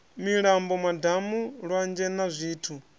milambo madamu lwanzhe na zwithu